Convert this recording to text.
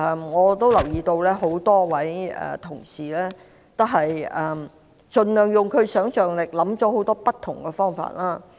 我留意到很多同事運用其想象力，想出很多不同方法。